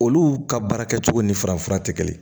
Olu ka baara kɛcogo ni farafin fura tɛ kelen ye